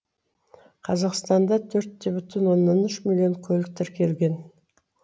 қазақстанда төрт бүтін оннан үш миллион көлік тіркелген